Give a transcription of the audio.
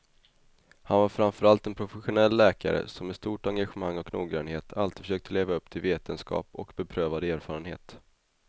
Han var framför allt en professionell läkare som med stort engagemang och noggrannhet alltid försökte leva upp till vetenskap och beprövad erfarenhet.